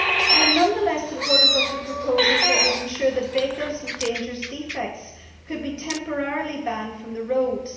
I am nonetheless supportive of the proposals that would ensure that vehicles with dangerous defects could be temporarily banned from the roads.